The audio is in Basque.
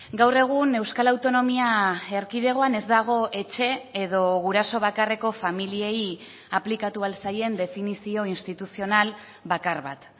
gaur egun euskal autonomia erkidegoan ez dago etxe edo guraso bakarreko familiei aplikatu ahal zaien definizio instituzional bakar bat